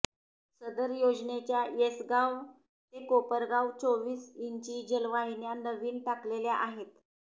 सदर योजनेच्या येसगाव ते कोपरगाव चोवीस इंची जलवाहिन्या नवीन टाकलेल्या आहेत